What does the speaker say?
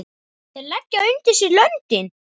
Þeir leggja undir sig löndin!